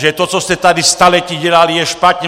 Že to, co jste tady staletí dělali, je špatně!